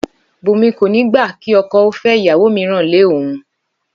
Bùnmi kò ní gbà kí okò ó fé ìyàwó mìíràn lé òun